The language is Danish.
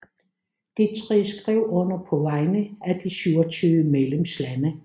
De tre skrev under på vegne af de 27 medlemslande